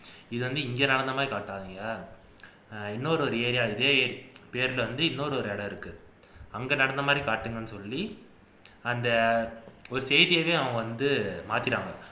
இதை அந்து இங்க நடந்த மாதிரி காட்டாதீங்க இன்னொரு ஒரு area இருக்கு பேர்ல வந்து இன்னொரு இடம் இருக்கு அங்க நடந்த மாதிரி காட்டுங்கன்னு சொல்லி அந்த செய்தியவே அவங்க வந்து மாத்திட்டாங்க